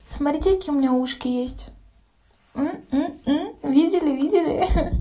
смотрите какие у меня ушки есть видели видели